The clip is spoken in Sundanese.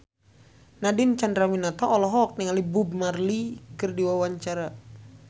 Nadine Chandrawinata olohok ningali Bob Marley keur diwawancara